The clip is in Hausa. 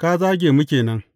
ka zage mu ke nan.